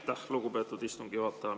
Aitäh, lugupeetud istungi juhataja!